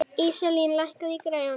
Íselín, lækkaðu í græjunum.